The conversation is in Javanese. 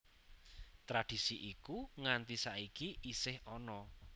Tradisi iku nganti saiki isih ana